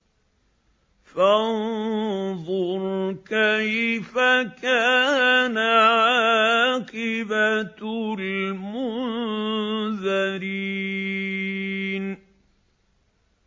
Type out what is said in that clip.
فَانظُرْ كَيْفَ كَانَ عَاقِبَةُ الْمُنذَرِينَ